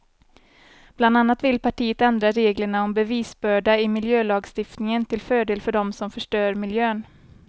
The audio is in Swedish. Bland annat vill partiet ändra reglerna om bevisbörda i miljölagstiftningen till fördel för dem som förstör miljön.